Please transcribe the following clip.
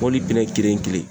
Mɔbili pinɛn kelen kelen